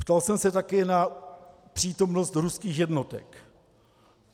Ptal jsem se také na přítomnost ruských jednotek.